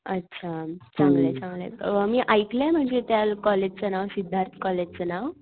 अ अच्छा चांगलय चांगलय मी ऐकलंय म्हणजे त्या कॉलेज च नाव सिद्धार्त कॉलेज च नाव.